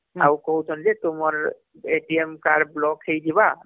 ଆଉ କହୁଛନ ଯେ ତୁମର card block ହେଇଜିବା